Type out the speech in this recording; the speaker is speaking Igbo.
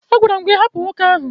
A gwara m gị hapụ nwoke ahụ!